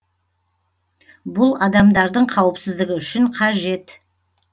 бұл адамдардың қауіпсіздігі үшін қажет